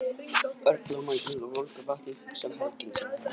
Örn lá makindalega í volgu vatninu og hugsaði um helgina sem var framundan.